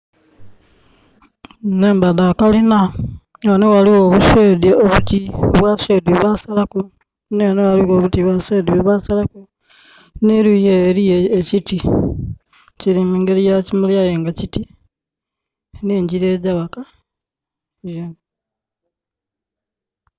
Nhumba dha kalina. Nga ghano ghaligho obu shade obutini, oba bu shade bwebasalaku, nhi ghano ghaligho obuti bwa shade bwebasalaku. N'eluuyi ele eliyo ekiti, kiri mungeri ya kimuli aye nga kiti, n'engira egya ghaka.